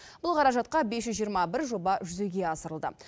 бұл қаражатқа бес жүз жиырма бір жоба жүзеге асырылды